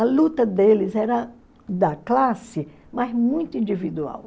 A luta deles era da classe, mas muito individual.